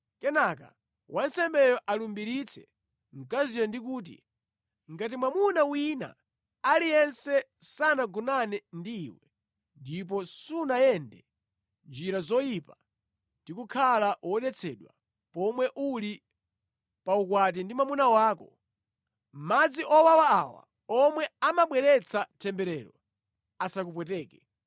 Kenaka wansembeyo alumbiritse mkaziyo ndi kuti, ‘Ngati mwamuna wina aliyense sanagonane ndi iwe ndipo sunayende njira yoyipa ndi kukhala wodetsedwa pomwe uli pa ukwati ndi mwamuna wako, madzi owawa awa omwe amabweretsa temberero asakupweteke.